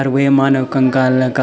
अर वे मानव कंकाल का।